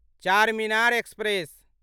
Charminar express